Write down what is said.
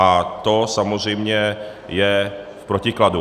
A to samozřejmě je v protikladu.